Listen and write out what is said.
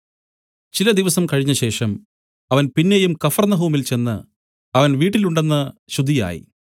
ചില ദിവസം കഴിഞ്ഞശേഷം അവൻ പിന്നെയും കഫർന്നഹൂമിൽ ചെന്ന് അവൻ വീട്ടിൽ ഉണ്ടെന്ന് ശ്രുതിയായി